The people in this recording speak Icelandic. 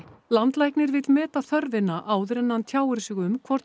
landlæknir vill meta þörfina áður en hann tjáir sig um hvort